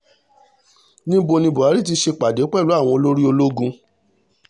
níbo ni buhari ti ṣèpàdé pẹ̀lú àwọn olórí ológun